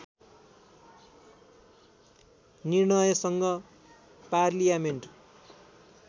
निर्णयसँग parliament